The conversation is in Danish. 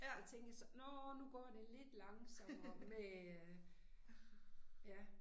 Der tænkte jeg så nåh nu går det lidt langsommere med øh ja